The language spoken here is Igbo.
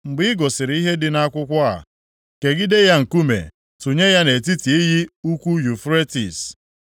Mgbe ị gụsịrị ihe dị nʼakwụkwọ a, kegide ya nkume, tụnye ya nʼetiti iyi ukwu Yufretis.